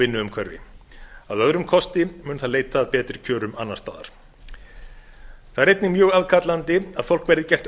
vinnuumhverfi að öðrum kosti mun það leita að betri kjörum annars staðar það er einnig mjög aðkallandi að fólki verði gert